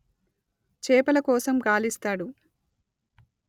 చేపల కోసం గాలిస్తాడు